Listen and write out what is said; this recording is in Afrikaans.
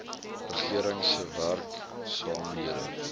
regering se werksaamhede